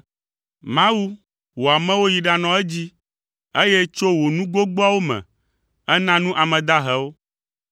Mawu, wò amewo yi ɖanɔ edzi, eye tso wò nu gbogboawo me, èna nu ame dahewo.